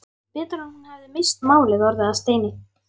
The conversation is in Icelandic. Betur að hún hefði misst málið, orðið að steini.